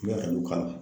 I bɛ ka dɔ k'a la